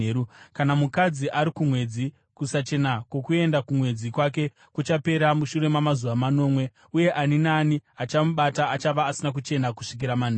“ ‘Kana mukadzi ari kumwedzi, kusachena kwokuenda kumwedzi kwake kuchapera mushure mamazuva manomwe, uye ani naani achamubata achava asina kuchena kusvikira manheru.